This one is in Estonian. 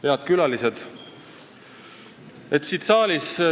Head külalised!